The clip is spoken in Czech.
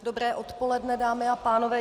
Dobré odpoledne, dámy a pánové.